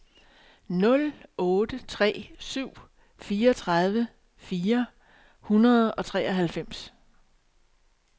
nul otte tre syv fireogtredive fire hundrede og treoghalvfems